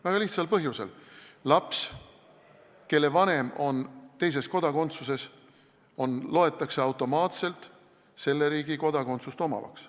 Väga lihtsal põhjusel: laps, kelle vanem on teises kodakondsuses, loetakse automaatselt selle riigi kodanikuks.